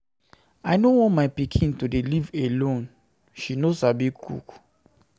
I no want my pikin to dey live alone. She no Sabi cook